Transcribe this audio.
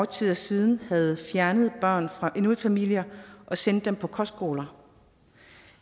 tid siden havde fjernet børn fra inuitfamilier og sendt dem på kostskoler